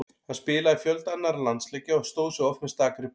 Hann spilaði fjölda annarra landsleikja og stóð sig oft með stakri prýði.